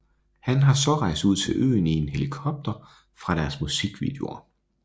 Han har så rejst ud til øen i en helikopter fra deres musikvideoer